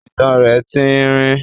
itan rẹ̀ tín-ín-rín.